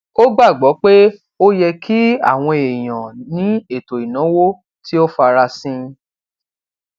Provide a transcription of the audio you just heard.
ó gbàgbó pé ó yẹ kí àwọn èèyàn ní ètò ìnáwó tí ó farasin